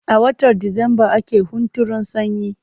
A watan Disamba ake hunturun sanyi.